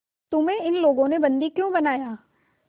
तुम्हें इन लोगों ने बंदी क्यों बनाया